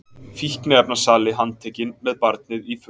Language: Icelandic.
Fíkniefnasali handtekinn með barnið í för